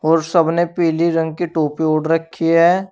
और सब ने पीली रंग की टोपी ओड़ रखी है।